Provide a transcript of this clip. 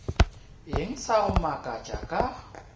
eng sa go makatša ka